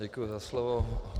Děkuji za slovo.